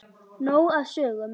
Nóg af sögum.